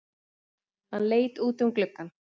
Hann leit út um gluggann.